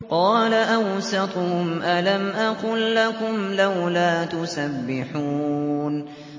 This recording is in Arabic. قَالَ أَوْسَطُهُمْ أَلَمْ أَقُل لَّكُمْ لَوْلَا تُسَبِّحُونَ